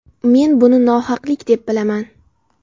Men buni nohaqlik deb bilaman.